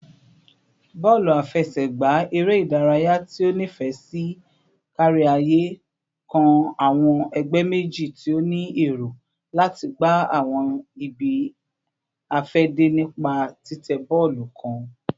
Bọọlu afẹsẹgba, ere idaraya ti o nifẹ si kariaye, kan awọn ẹgbẹ meji ti o ni ero lati gba awọn ibi-afẹde nipa titẹ bọọlu kan